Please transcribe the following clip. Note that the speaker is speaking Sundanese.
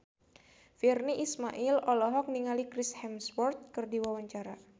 Virnie Ismail olohok ningali Chris Hemsworth keur diwawancara